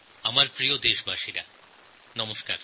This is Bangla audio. আমার প্রিয় দেশবাসীগণ নমস্কার